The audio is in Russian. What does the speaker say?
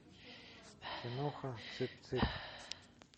киноха цып цып